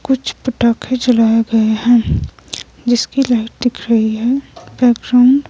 कुछ पटाखे जलाए गए हैं जिसकी लाइट दिख रही है बैकग्राउंड --